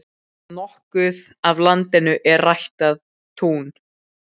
Nokkuð af landinu er ræktað tún.